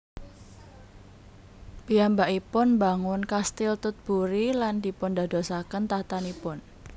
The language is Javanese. Piyambakipun mbangun Kastil Tutbury lan dipundadosaken tahtanipun